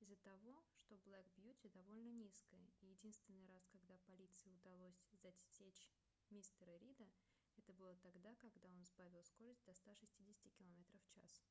из-за того что black beauty довольно низкая и единственный раз когда полиции удалось засечь мистера рида это было тогда когда он сбавил скорость до 160 км/ч